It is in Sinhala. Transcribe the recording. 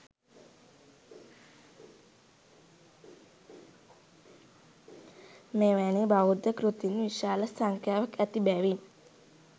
මෙවැනි බෞද්ධ කෘතීන් විශාල සංඛ්‍යාවක් ඇති බැවින්